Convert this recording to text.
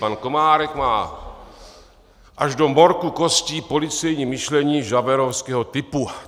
Pan Komárek má až do morku kostí policejní myšlení javertovského typu.